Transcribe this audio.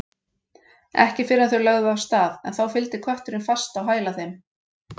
Ekki fyrr en þau lögðu af stað en þá fylgdi kötturinn fast á hæla þeim.